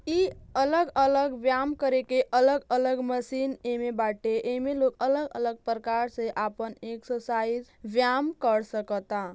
इ अलग अलग व्याम करे के अलग अलग मशीन एमे बाटे। एमे लोग अलग अलग प्रकार से आपन एक्सरसाइज व्याम कर सकता।